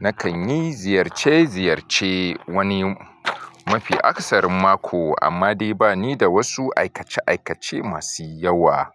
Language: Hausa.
nakan yi ziyarce ziyarce wani mafi akasarin mako amma dai bani da wasu aikace aikace masu yawa.